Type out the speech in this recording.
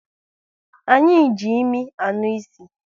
Anyị ji imi anụ ịsị